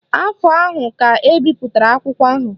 Afọ ahụ ka ebipụtara akwụkwọ ahụ